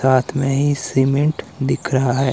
साथ में ही सीमेंट दिख रहा है।